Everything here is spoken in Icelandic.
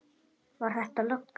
Var þetta löggan?